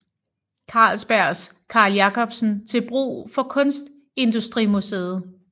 Carlsbergs Carl Jacobsen til brug for Kunstindustrimuseet